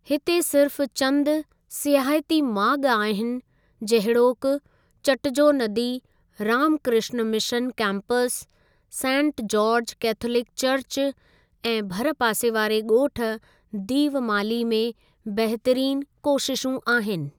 हिते सिर्फ़ चंद सियाहती माॻु आहिनि जहिड़ोकि चटजो नदी Ramakrishna mission campus, saint George Catholic church ऐं भरि पासे वारे ॻोठ दीवमाली में बहितरीनु कोशिशूं आहिनि।